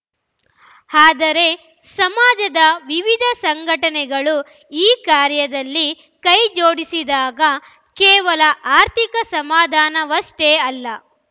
ಆದರೆ ಸಮಾಜದ ವಿವಿಧ ಸಂಘಟನೆಗಳು ಈ ಕಾರ್ಯದಲ್ಲಿ ಕೈ ಜೋಡಿಸಿದಾಗ ಕೇವಲ ಆರ್ಥಿಕ ಸಮಾಧಾನವಷ್ಟೇ ಅಲ್ಲ